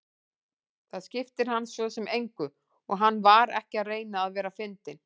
Það skipti hann svo sem engu og hann var ekki að reyna að vera fyndinn.